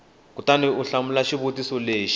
kutani u hlamula xivutiso lexi